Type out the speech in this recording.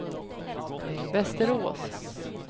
Västerås